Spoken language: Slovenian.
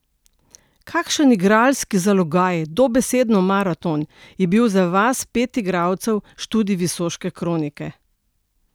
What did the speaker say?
Kakšen igralski zalogaj, dobesedno maraton, je bil za vas pet igralcev študij Visoške kronike?